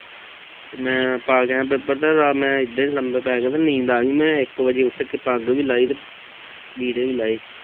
ਤੇ ਮੈਂ ਆ ਕੇ ਪੇਪਰ ਤੋਂ, ਏਦਾਂ ਹੀ ਲੰਮਾ ਪੈ ਗਿਆ ਤੇ ਨੀਂਦ ਆਗੀ। ਮੈਂ ਇੱਕ ਵਜੇ ਉੱਠ ਕੇ ਪੱਗ ਵੀ ਲਾਈ ਤੇ ਲੀੜੇ ਵੀ ਲਾਏ।